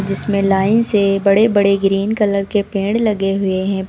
जिसमें लाइन से बड़े बड़े ग्रीन कलर के पेड़ लगे हुए हैं।